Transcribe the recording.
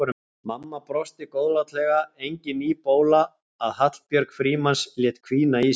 Mamma brosti góðlátlega, engin ný bóla að Hallbjörg Frímanns léti hvína í sér.